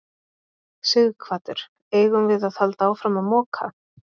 Sighvatur: Eigum við að halda áfram að moka?